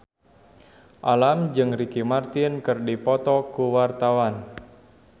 Alam jeung Ricky Martin keur dipoto ku wartawan